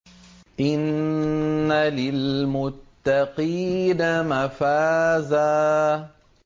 إِنَّ لِلْمُتَّقِينَ مَفَازًا